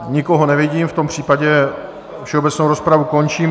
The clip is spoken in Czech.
Nikoho nevidím, v tom případě všeobecnou rozpravu končím.